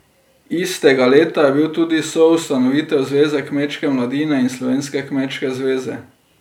Istega leta je bil tudi soustanovitelj Zveze kmečke mladine in Slovenske kmečke zveze.